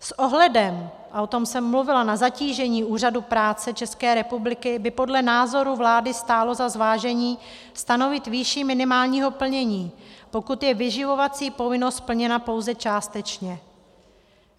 S ohledem, a o tom jsem mluvila, na zatížení Úřadu práce České republiky by podle názoru vlády stálo za zvážení stanovit výši minimálního plnění, pokud je vyživovací povinnost splněna pouze částečně.